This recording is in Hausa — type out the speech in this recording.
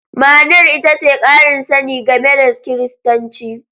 Ma'anar ita ce ƙarin sani game da Kiristanci.